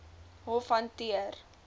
hof hanteer